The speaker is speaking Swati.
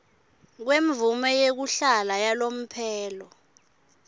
kwemvumo yekuhlala yalomphelo